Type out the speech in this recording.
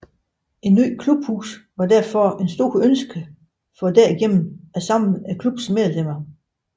Et nyt klubhus var derfor et stort ønske for derigennem at samle klubbens medlemmer